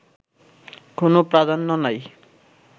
কোন প্রাধান্য নাই